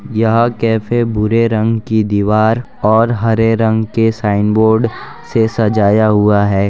यह कैफे भूरे रंग की दीवार और हरे रंग के साइन बोर्ड से सजाया हुआ हैं।